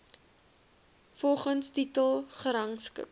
volgens titel gerangskik